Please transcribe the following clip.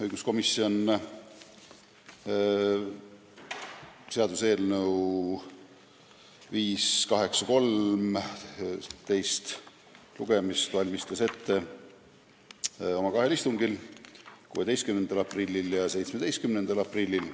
Õiguskomisjon arutas seaduseelnõu 583 ettevalmistamist teiseks lugemiseks kahel istungil, 16. aprillil ja 17. aprillil.